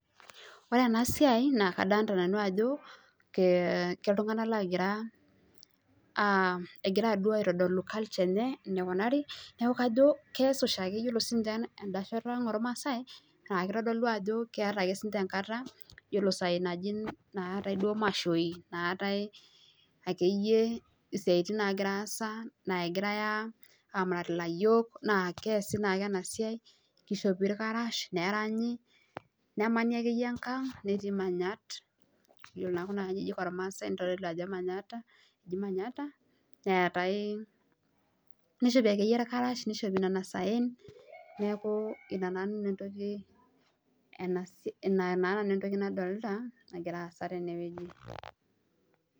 Ore ena siai naa kadolita nanu ajo iltunganak oogira aitodolu olkuak lenje eneikunaari amu ore siiniinche en'da shoto ang' olmaasai naa kitodolu ajo ore isaai naata siininje imashoi akeyie isiaitin naagira aasa aamurat ilayiok na keesi naake ena siai, kishopi ilkarash neranyi nemani akeyie enkang netii imanyat iyiolo naa kuna kajijik oolmaasai ajo keji manyata nishopi akeyie ilkarash nishopi isaen